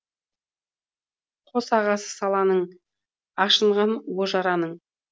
қос ағысы саланың ашынған уы жараның